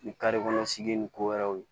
Ni sigi ni ko wɛrɛw ye